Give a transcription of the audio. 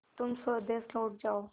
तुम स्वदेश लौट जाओ